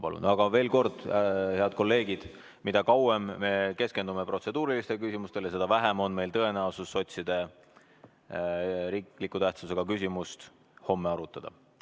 Aga veel kord, head kolleegid, mida kauem me keskendume protseduurilistele küsimustele, seda vähem on meil tõenäosust sotside riikliku tähtsusega küsimust homme arutada.